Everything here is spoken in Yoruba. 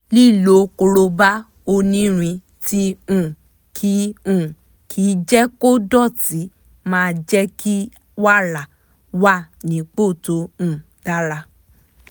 líló kóróbá ónírin tí um kì um kì jẹ́ kó dọ̀tí máa jẹ́ kí wàrà wà nípò tó um dára